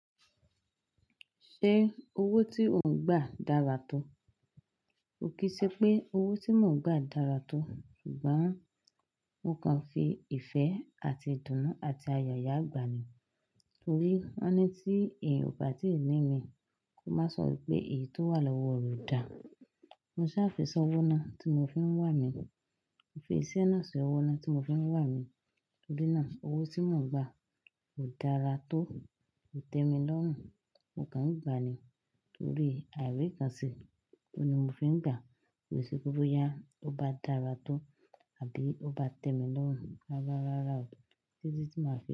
Ṣé owó tí ò ń gbà dára tó? Kì í ṣe pé owó tí mò ń gbà dára tó, ṣùgbọ́n mo kàn fi ìfẹ́ àti ìdùnnú àti ayọ̀ yà gbà ni. Torí woni tí èèyan o bá tí ìní mi, kò máa sọ wípé èyí tó wà lọ́wọ́ re o dà. Mo sá fi sọ owó náà tí mo fi ń wà mí. Mo fi iṣẹ́ náà sí owó náà tí mo fi ń wà mí. Torí náà, owó tí mò ń gbà kò dára tó, kò tẹ́mi lọ́rùn, mo kàn ń gbà á ni torí àìríkanṣe. Ó ni mo fi ń gbà. Ki se pe bo yá, ó bá dára tó àbí ó bá tẹ́mi lọ́rùn rárá rárá o.